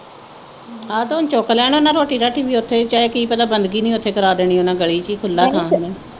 ਆਹ ਤੇ ਹੁਣ ਚੁੱਕ ਲੈਣਾ ਨਾ ਰੋਟੀ ਰਾਟੀ ਵੀ ਉਥੇ ਚਾਹੇ ਕੀ ਪਤਾ ਬੰਦਗੀ ਨੀ ਉਥੇ ਕਰਾ ਦੇਣੀ ਉਨ੍ਹਾਂ ਗਲੀ ਵਿਚ ਖੁੱਲਾ ਥਾਂ